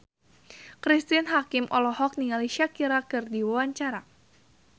Cristine Hakim olohok ningali Shakira keur diwawancara